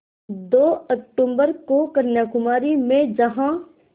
दो अक्तूबर को कन्याकुमारी में जहाँ